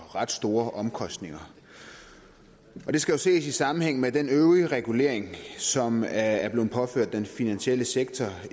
ret store omkostninger og det skal jo ses i sammenhæng med den øvrige regulering som er blevet påført den finansielle sektor